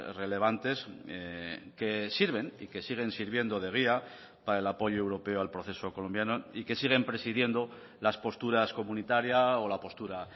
relevantes que sirven y que siguen sirviendo de guía para el apoyo europeo al proceso colombiano y que siguen presidiendo las posturas comunitaria o la postura